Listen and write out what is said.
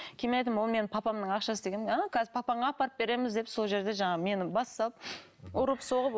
кейін мен айттым ол менің папамның ақшасы дегенмін а қазір папаңа апарып береміз деп сол жерде жаңағы мені бас салып ұрып соғып